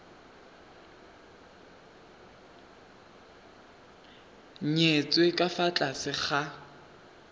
nyetswe ka fa tlase ga